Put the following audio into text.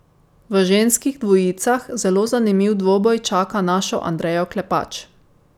V ženskih dvojicah zelo zanimiv dvoboj čaka našo Andrejo Klepač.